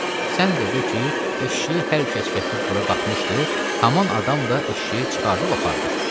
Sən də de ki, eşşəyi hər kəs gətirib bura qatmışdı, haman adam da eşşəyi çıxardıb apardı.